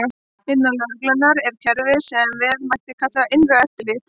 Innan lögreglunnar er kerfi sem vel mætti kalla innra eftirlit.